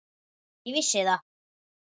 Ég vissi það.